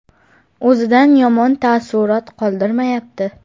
O‘zidan yomon taassurot qoldirmayapti.